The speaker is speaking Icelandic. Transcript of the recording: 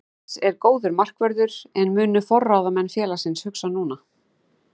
Jens er góður markvörður en munu forráðamenn félagsins hugsa núna?